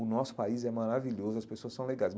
O nosso país é maravilhoso, as pessoas são legais.